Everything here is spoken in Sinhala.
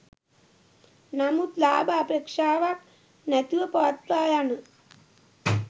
නමුත් ලාභ අපේක්ෂාවක් නැතිව පවත්වා යන